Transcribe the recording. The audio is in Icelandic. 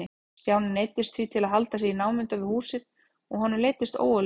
Stjáni neyddist því til að halda sig í námunda við húsið og honum leiddist ógurlega.